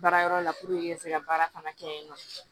Baara yɔrɔ la ka se ka baara fana kɛ yen nɔ